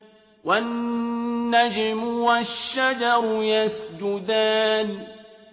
وَالنَّجْمُ وَالشَّجَرُ يَسْجُدَانِ